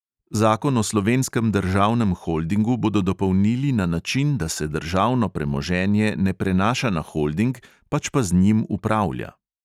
Zakon o slovenskem državnem holdingu bodo dopolnili na način, da se državno premoženje ne prenaša na holding, pač pa z njim upravlja.